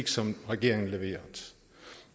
som regeringen leverede